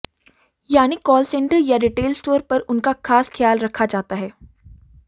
यानी call centre या retail store पर उनका खास ख्याल रखा जाता है